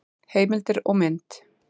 Heimildir og mynd: